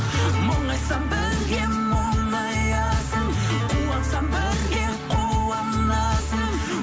мұңайсам бірге мұңаясың қуансам бірге қуанасың